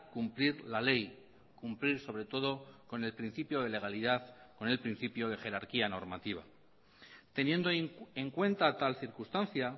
cumplir la ley cumplir sobre todo con el principio de legalidad con el principio de jerarquía normativa teniendo en cuenta tal circunstancia